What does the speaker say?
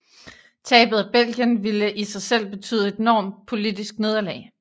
Tabet af Belgien ville i sig selv betyde et enormt politisk nederlag